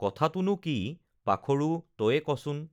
কথাটো নো কি পাখৰু তয়ে কচোন